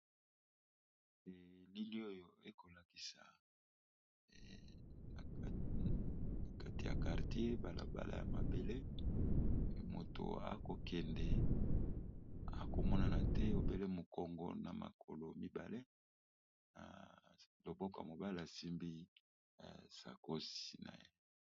Elili oyo ekolakisa na kati ya kartier balabala ya mabele moto akokende akomonana te obele mokongo na makolo mibale na loboko ya mobala asimbi sakosi na ye.